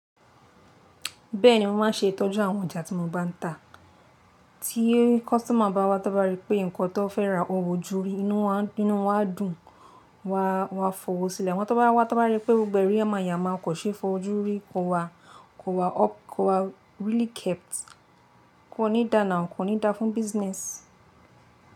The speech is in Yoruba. Bẹ́ẹ̀ni mo máa n ṣe ìtọ́jú àwọn ọjà tí mo bá n tà. Tí customer bá wá tábá rí pé nǹkan tó fẹ́ rà o wọ juri inú wà dún wà fọwọ́ sílẹ̀ wọ́n tábá wá tábá rí pé gbogbo ẹrí yàmayamá kò ṣe é fọ jú rí kò wá really kept kò ní dá nà kò ní dá fún isòwo.